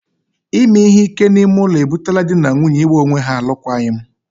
Ime ihe ike n'ime ụlọ e butela dị na nwunye ị gba onwe ha alụkwaghịm.